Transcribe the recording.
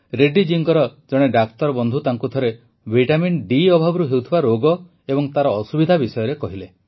ରେଡ୍ଡୀ ଜୀଙ୍କ ଜଣେ ଡାକ୍ତରବନ୍ଧୁ ତାଙ୍କୁ ଥରେ ଭିଟାମିନ୍ ଡି ଅଭାବରୁ ହେଉଥିବା ରୋଗ ଏବଂ ତାର ଅସୁବିଧା ବିଷୟରେ କହିଲେ